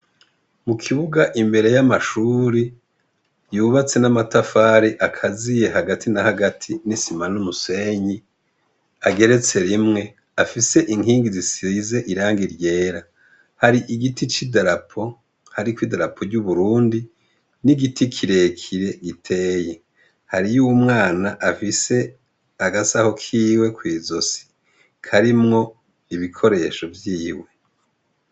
Mukibuga imbere y' amashure yubatse n'amatafari akaziye hagati na hagati n' isima n' umusenyi ageretse rimwe afise ikingi zisize irangi ryera hari igiti c idarapo hariko idarapo ry' uburundi n' igiti kirekire giteye hariyo umwana afise agasaho kiwe kwizosi karimwo ibikoresho vyiwe .